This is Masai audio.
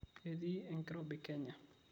Ketii enkirobi kenya